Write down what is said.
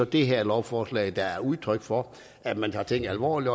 det her lovforslag er så udtryk for at man har tænkt alvorligt